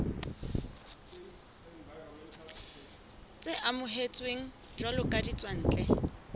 tse amohetsweng jwalo ka ditswantle